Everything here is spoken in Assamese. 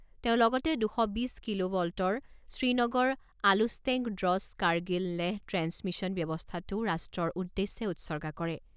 তেওঁ লগতে দুশ বিছ কিলোভলটৰ শ্ৰীনগৰ আলুছটেংক ড্ৰছ কাৰ্গিল লেহ ট্ৰেন্সমিছন ব্যৱস্থাটোও ৰাষ্ট্ৰৰ উদ্দেশ্যে উৎসৰ্গা কৰে।